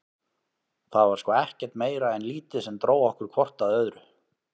Það var sko ekkert meira en lítið sem dró okkur hvort að öðru.